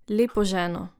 Lepo ženo.